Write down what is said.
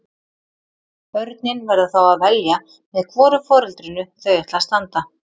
Börnin verða þá að velja með hvoru foreldrinu þau ætla að standa.